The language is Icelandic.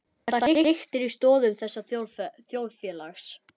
Það hriktir í stoðum þessa þjóðfélags.